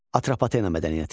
Atropatena mədəniyyəti.